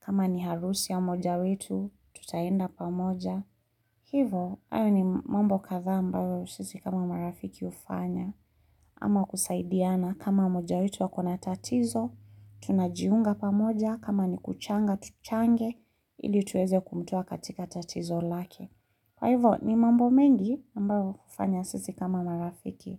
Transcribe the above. kama ni harusi ya mmoja wetu, tutaenda pamoja. Hivo ayo ni mambo katha ambayo sisi kama marafiki ufanya ama kusaidiana kama moja wetu akona tatizo tunajiunga pamoja kama ni kuchanga tuchange ili tuweze kumtoa katika tatizo lake. Kwa hivo ni mambo mengi ambao hufanya sisi kama marafiki.